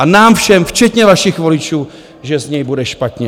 A nám všem, včetně vašich voličů, že z něj bude špatně.